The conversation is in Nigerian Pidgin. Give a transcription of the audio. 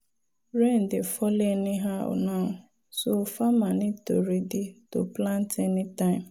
rain dey fall anyhow now so farmer need to ready to plant anytime.